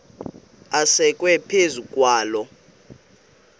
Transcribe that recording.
asekwe phezu kwaloo